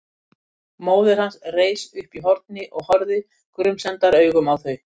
Móðir hans reis upp útí horni og horfði grunsemdaraugum á þau.